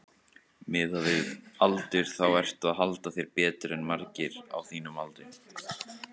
Miðað við aldur þá ertu að halda þér betur en margir á þínum aldri?